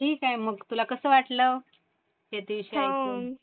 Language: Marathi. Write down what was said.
ठीक आहे. मग तुला कसं वाटलं शेतीविषयी ऐकून?